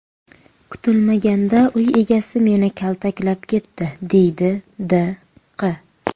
Kutilmaganda uy egasi meni kaltaklab ketdi, deydi D. Q.